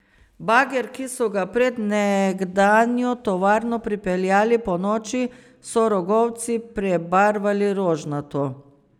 Bager, ki so ga pred nekdanjo tovarno pripeljali ponoči, so rogovci prebarvali rožnato.